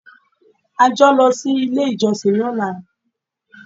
A jọ ń lọ sí ilé-ìjọsìn lọ́la ni.